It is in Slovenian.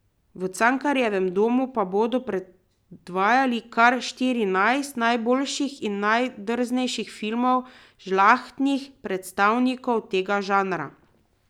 V Cankarjevem domu pa bodo predvajali kar štirinajst najboljših in najdrznejših filmov, žlahtnih predstavnikov tega žanra.